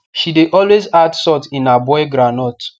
she de always add salt in her boil groundnut